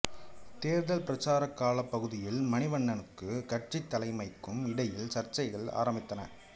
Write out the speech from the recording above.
தேர்தல் பிரச்சாரக் காலப் பகுதியில் மணிவண்ணனுக்கும் கட்சித் தலைமைக்கும் இடையில் சர்ச்சைகள் ஆரம்பித்தன